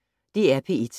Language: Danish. DR P1